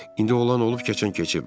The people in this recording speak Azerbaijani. İndi olan olub keçən keçib.